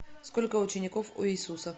сколько учеников у иисуса